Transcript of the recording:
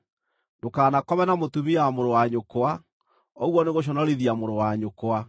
“ ‘Ndũkanakome na mũtumia wa mũrũ wa nyũkwa; ũguo nĩgũconorithia mũrũ wa nyũkwa.